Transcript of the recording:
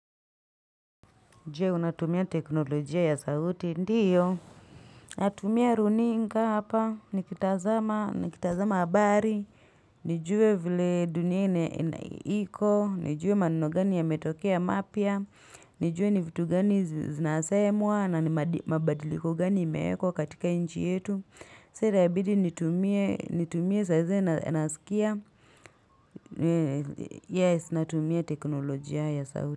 Je, unatumia teknolojia ya sauti? Ndiyo. Natumia runinga hapa, nikitazama, nikitazama habari. Nijue vile dunia ina ina iko, nijue maneno gani yametokea mapya, nijue ni vitu gani zinasemwa na ni mabadiliko gani imeekwa katika nchi yetu. So itabidi nitumie nitumie saa zingine nasikia, yes, natumia teknolojia ya sauti.